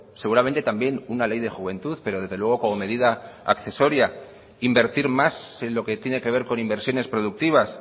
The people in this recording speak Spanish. seguramente también una ley de juventud pero desde luego como medida accesoria invertir más en lo que tiene que ver con inversiones productivas